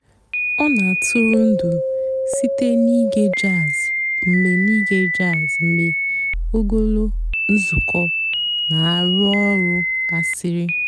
ọ́ nà-àtụ́rụ́ ǹdụ́ sìté n'íge jàzz mg̀bé n'íge jàzz mg̀bé ògólo ǹzùkọ́ nà-àrụ́ ọ̀rụ́ gàsirị́.